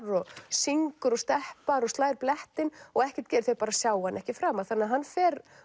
syngur og steppar og slær blettinn og ekkert gerist þau bara sjá hann ekki framar þannig að hann fer